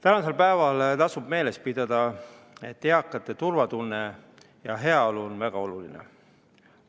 Tänasel päeval tasub meeles pidada, et eakate turvatunne ja heaolu on väga oluline.